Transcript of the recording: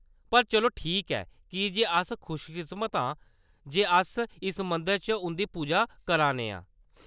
पर चलो ठीक ऐ, की जे अस खुशकिस्मत आं जे अस इस मंदरै च उंʼदी पूजा करै ने आं।